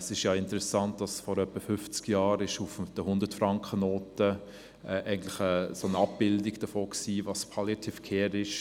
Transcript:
Es ist ja interessant, dass sich vor etwa fünfzig Jahren auf der Hundert-Franken-Note eine Abbildung davon befand, was Palliative Care ist.